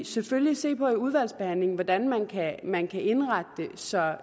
selvfølgelig se på i udvalgsbehandlingen hvordan man kan man kan indrette det så